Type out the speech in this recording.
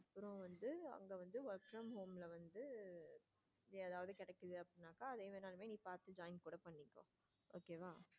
அப்புறம் வந்து அங்க வந்து work from home லா வந்து ஏதாவது கிடைக்குது அப்படின்னாக்கா நீ பார்த்து join கூட பண்ணிக்கோ okay வா.